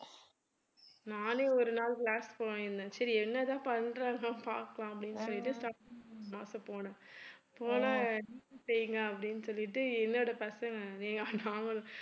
நானே ஒரு நாள் class போயிருந்தேன் சரி என்னதான் பண்றாங்க பாக்கலாம் அப்படினுட்டு போயிட்டு போனேன் போனா அப்படின்னு சொல்லிட்டு பசங்க நாங்களும்